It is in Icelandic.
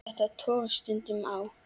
Þetta togast stundum á.